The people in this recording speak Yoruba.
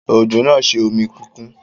Òjò náà ṣe omi kíkún.